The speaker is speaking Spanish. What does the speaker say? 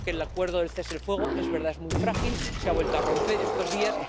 Yo creo que el acuerdo de cese el fuego es muy frágil, se ha vuelto a romper estos días